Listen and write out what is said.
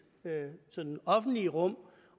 sådan offentlige rum